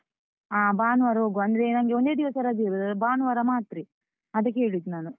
ಹ ಭಾನುವಾರ ಹೋಗುವ ಅಂದ್ರೆ ನಂಗೆ ಒಂದೇ ದಿವಸ ರಜೆ ಇರುದ ಭಾನುವಾರ ಮಾತ್ರೆ, ಅದಕ್ಕೇ ಹೇಳಿದ್ದು ನಾನು.